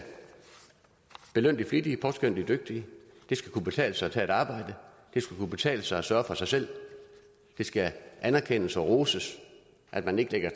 belønne de flittige og påskønne de dygtige det skal kunne betale sig at tage et arbejde det skal kunne betale sig at sørge for sig selv det skal anerkendes og roses at man ikke ligger